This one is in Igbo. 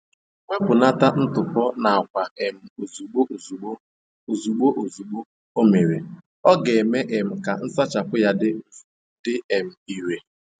Wepụnata ntụpọ n'akwa um ozugbo ozugbo o ozugbo ozugbo o mere, ọ ga-eme um ka nsachapụ ya dị um ire.